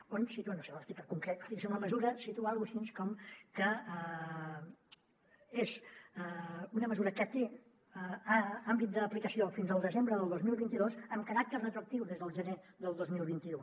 on situa no sé l’article concret fixem la mesura situa alguna cosa així com que és una mesura que té àmbit d’aplicació fins al desembre del dos mil vint dos amb caràcter retroactiu des del gener del dos mil vint u